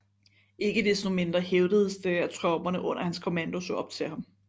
Ikke desto mindre hævdedes det at tropperne under hans kommando så op til ham